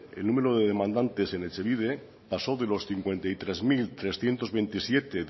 el número de demandantes en etxebide pasó de los cincuenta y tres mil trescientos veintisiete